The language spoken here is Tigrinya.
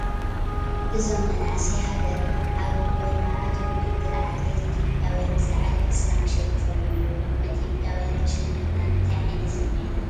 እዞም መናእሰይ ሃገርና አብ ድባይ ማራቶን ውድድር አትሌት ኢትዮጲያውያን ብዝለዓለ ፍፃመ አሸኒፎም አለው ።ከም አትዮጲያውያን ተሸኒፍና እንታይ ዓይነት ስሚዒት አለኩም?